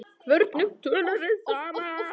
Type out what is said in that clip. Hvernig tölum við saman?